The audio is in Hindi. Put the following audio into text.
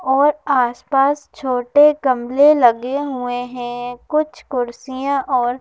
और आसपास छोटे गमले लगे हुए हैं कुछ कुर्सियां और --